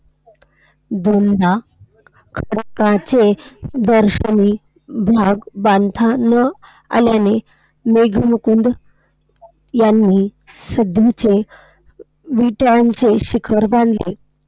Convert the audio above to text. जुन्या खडकाचे दर्शनी भाग बांधता न आल्याने मेघमुकुंद यांनी सध्याचे विटांचे शिखर बांधले.